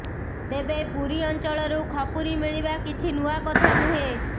ତେବେ ପୁରୀ ଅଞ୍ଚଳରୁ ଖପୁରୀ ମିଳିବା କିଛି ନୂଆ କଥା ନୁହେଁ